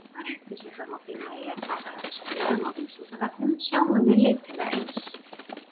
Nánari upplýsingar má finna í eftirfarandi svörum á Vísindavefnum: Sjáum við litina eins?